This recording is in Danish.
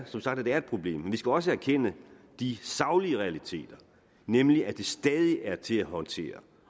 som sagt at det er et problem men vi skal også erkende de saglige realiteter nemlig at det stadig er til at håndtere